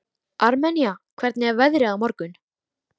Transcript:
Armenía, hvernig er veðrið á morgun?